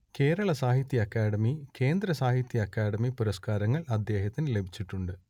കേരള സാഹിത്യ അക്കാദമി കേന്ദ്ര സാഹിത്യ അക്കാദമി പുരസ്കാരങ്ങൾ അദ്ദേഹത്തിനു ലഭിച്ചിട്ടുണ്ട്